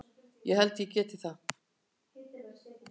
Ég held þeir geti það.